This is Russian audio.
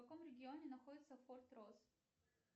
в каком регионе находится форт рос